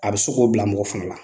A bɛ se k'o bila mɔgɔ fana la